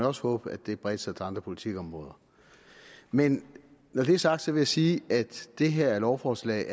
også håbe bredte sig til andre politikområder men når det er sagt vil jeg sige at det her lovforslag